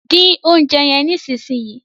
Dín oúnjẹ yen nísìsiyìí!